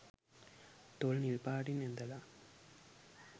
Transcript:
තොල් නිල්පාටින් ඇඳලා